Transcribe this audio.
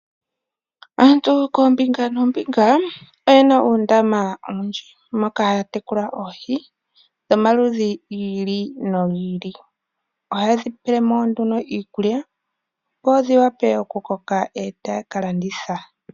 Aantu kombinga noombinga oyena uundama owundji moka haya tekula oohi dhomaludhi ngili nongili, oha yedhipelemo nduno iikulya dho odhiwape oku koka etaya kalanditha.